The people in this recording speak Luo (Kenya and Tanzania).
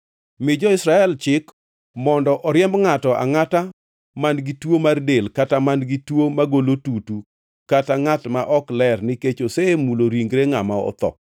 “Mi jo-Israel chik mondo oriemb ngʼato angʼata man-gi tuo mar del kata man-gi tuo magolo tutu kata ngʼat ma ok ler nikech osemulo ringre ngʼama otho.